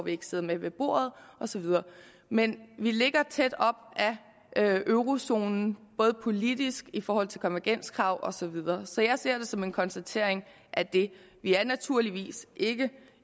ikke sidder med ved bordet og så videre men vi ligger tæt op ad eurozonen både politisk og i forhold til konvergenskrav og så videre så jeg ser det som en konstatering af det vi er naturligvis ikke